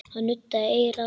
Hann nuddaði eyrað.